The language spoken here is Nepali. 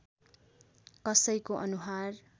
कसैको अनुहार